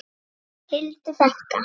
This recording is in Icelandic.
Hildur frænka.